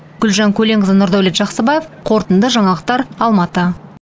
гүлжан көленқызы нұрдәулет жақсыбаев қорытынды жаңалықтар алматы